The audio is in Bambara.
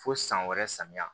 Fo san wɛrɛ samiyɛ